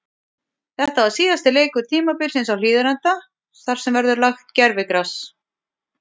Þetta var síðasti leikur tímabilsins á Hlíðarenda þar sem þar verður lagt gervigras.